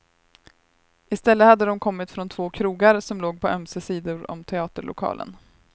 Istället hade de kommit från två krogar, som låg på ömse sidor om teaterlokalen.